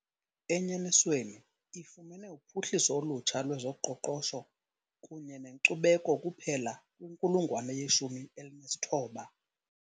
Enyanisweni, ifumene uphuhliso olutsha lwezoqoqosho kunye nenkcubeko kuphela kwinkulungwane yeshumi elinesithoba.